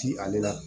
Ti ale la